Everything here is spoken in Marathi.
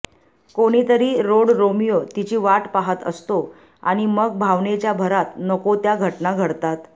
कोणीतरी रोडरोमिओ तिची वाट पाहत असतो आणि मग भावनेच्या भरात नको त्या घटना घडतात